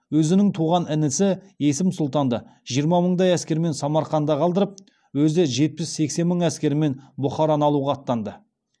өзінің туған інісі есім сұлтанды жиырма мыңдай әскермен самарқанда қалдырып өзі жетпіс сексен мың әскерімен бұхараны алуға аттанды